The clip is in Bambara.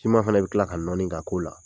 Sima fana bɛ tila ka nɔɔni ka ko la.